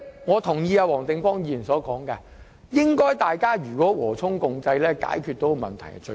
我同意黃定光議員所說，勞資雙方和衷共濟解決問題固然最好。